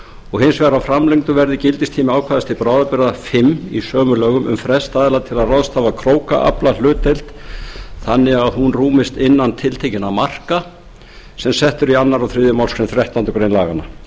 og hins vegar að framlengdur verði gildistími ákvæðis til bráðabirgða fimm í sömu lögum um frest aðila til að ráðstafa krókaflahlutdeild þannig að hún rúmist innan tiltekinna marka sem sett eru í öðru og þriðju málsgrein þrettándu greinar laganna á fundum